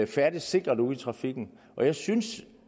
færdes sikkert ude i trafikken og jeg synes